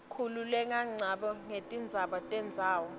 khukhulelangoco netindzaba tetendzawo